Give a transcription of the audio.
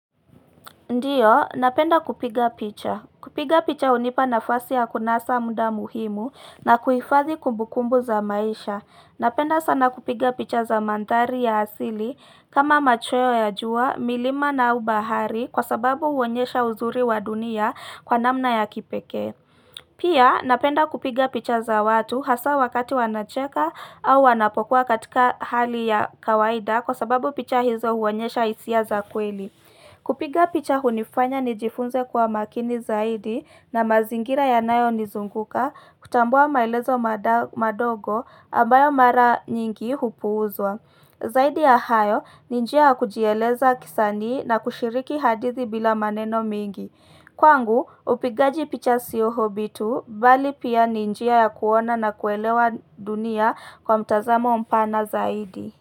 Ndio, napenda kupiga picha. Kupiga picha unipa nafasi ya kunasa muda muhimu na kuifadhi kumbukumbu za maisha. Napenda sana kupiga picha za mandhari ya asili kama machweo ya jua, milima na au bahari kwa sababu uonyesha uzuri wa dunia kwa namna ya kipeke. Pia, napenda kupiga picha za watu hasa wakati wanacheka au wanapokuwa katika hali ya kawaida kwa sababu picha hizo uonyesha hisia za kweli. Kupiga picha hunifanya nijifunze kuwa makini zaidi na mazingira yanayo nizunguka kutambua maelezo madogo ambayo mara nyingi hupuuzwa. Zaidi ya hayo ni njia kujieleza kisanii na kushiriki hadithi bila maneno mingi. Kwangu upigaji picha sio hobby tu bali pia ni njia ya kuona na kuelewa dunia kwa mtazamo mpana zaidi.